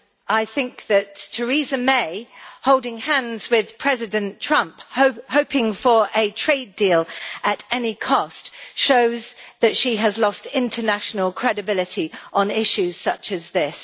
I think that Theresa May's holding hands with President Trump, hoping for a trade deal at any cost, shows that she has lost international credibility on issues such as this.